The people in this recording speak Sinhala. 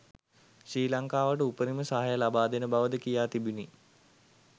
ශ්‍රී ලංකාවට උපරිම සහාය ලබාදෙන බව ද කියා තිබිණි